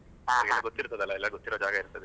ಹಾ, ಹಾ, ಗೊತ್ತಿರ್ತದೆ ಅಲ್ಲ ಎಲ್ಲ ಗೊತ್ತಿರುವ ಜಾಗ ಇರ್ತದೆ.